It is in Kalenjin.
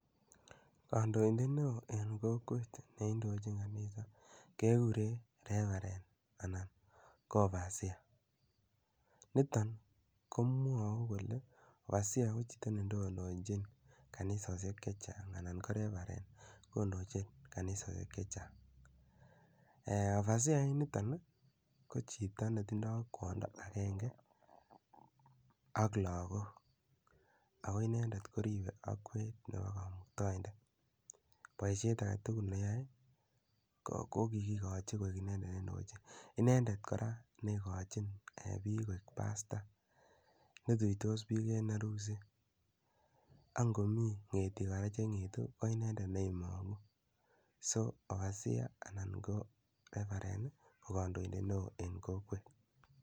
Kandoindet ne oo eng' kokwet ne indochin kanisa kekure Reverend anan ko Overseer. Niton ko mwau kole overseer ko chito netonondachin kanisoshek che chang' anan ko Reverend kondochin kanisoshek che chang'. Overseer initok ko chito ne tindai kwanda akenge ak lagok ako inendet koripe akwet nepo Kamuktaindet. Poishet age tugul ne yae ko kikikachi inendet kpndochin. Inendet kora ne ikachin piil koek pastor ne tuitos piik en arusi. Angomi ng'etik kora che ng'etu ko inendet ne imang'u. So overseer anan ko Reverend ko kandoindet neoo eng' kokwet.